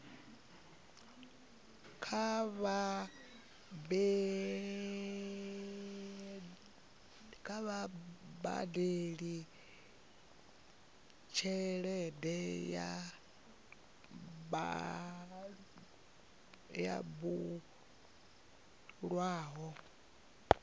kha vha badele tshelede yo bulwaho